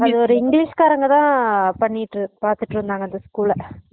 அது ஒரு english காரங்க தான் பண்ணிட்டு பாத்துட்டு இருந்தாங்க அந்த school ஆ